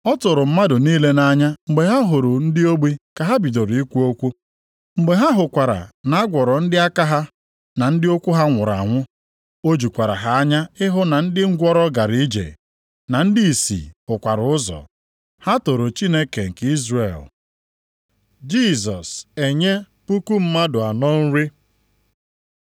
Ọ tụrụ mmadụ niile nʼanya mgbe ha hụrụ ndị ogbi ka ha bidoro ikwu okwu. Mgbe ha hụkwara na a gwọrọ ndị aka ha, na ndị ụkwụ ha nwụrụ anwụ, o jukwara ha anya ịhụ na ndị ngwụrọ gara ije, na ndị ìsì hụkwara ụzọ. Ha toro Chineke nke Izrel. Jisọs enye puku mmadụ anọ nri